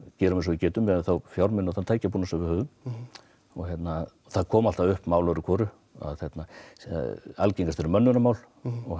gerum eins og við getum miðað við þá fjármuni og tækjabúnað sem við höfum það koma alltaf upp mál öðru hvoru algengast eru mönnunarmál